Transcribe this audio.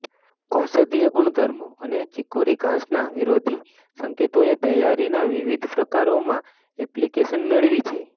ઔષધીય ગુણધર્મો અને ચિકોરી ઘાસના વિરોધી સંકેતોએ તૈયારીના વિવિધ પ્રકારોમાં એપ્લિકેશન મેળવી છે